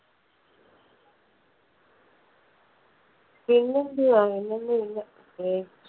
പിന്നെ എന്തുവാ പിന്നെ ഒന്നും ഇല്ല. ഏ